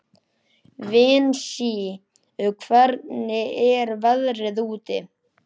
Vinsý, hvernig er veðrið úti?